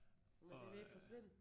Og øh